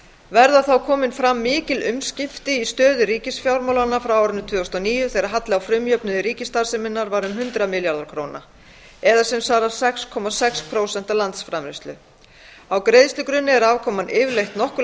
verða þá komin fram mikil umskipti í stöðu ríkisfjármálanna frá árinu tvö þúsund og níu þegar halli á frumjöfnuði ríkisstarfseminnar var um hundrað milljarðar króna það er sem svarar til sex komma sex prósent af landsframleiðslu á greiðslugrunni er afkoman yfirleitt nokkru